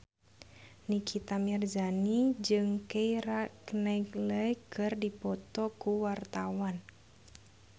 Nikita Mirzani jeung Keira Knightley keur dipoto ku wartawan